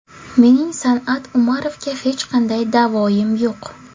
Mening San’at Umarovga hech qanday da’voyim yo‘q.